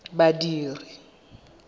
badiri